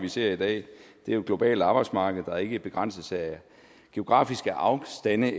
vi ser i dag er et globalt arbejdsmarked der ikke begrænses af geografiske afstande